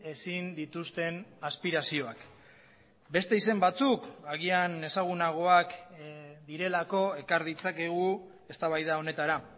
ezin dituzten aspirazioak beste izen batzuk agian ezagunagoak direlako ekar ditzakegu eztabaida honetara